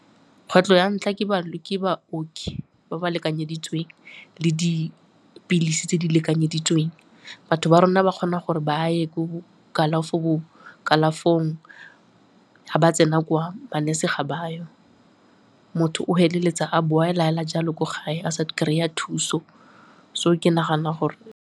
Kgwetlho ya ntlha ke baoki ba ba lekanyeditsweng le dipilisi tse di lekanyeditsweng. Batho ba rona ba kgona gore ba ye ko kalafong, ga ba tsena kwa, ma-nurse-e ga bayo, motho o feleletsa a boela fela jalo ko gae, a sa kry-a thuso, so ke nagana gore.